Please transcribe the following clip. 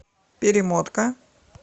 перемотка